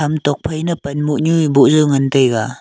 ham tok phai nang panmoh nyu boh jaw ngan taiga.